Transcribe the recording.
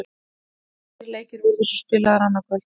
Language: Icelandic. Tveir leikir verða svo spilaðir annað kvöld.